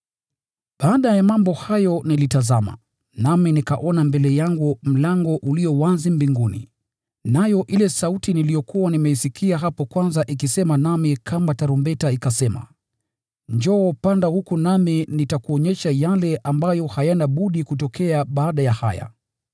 Baada ya mambo hayo nilitazama, nami nikaona mbele yangu mlango uliokuwa wazi mbinguni. Nayo ile sauti niliyokuwa nimeisikia hapo mwanzo ikisema nami kama tarumbeta ikasema, “Njoo, huku, nami nitakuonyesha yale ambayo hayana budi kutokea baada ya haya.”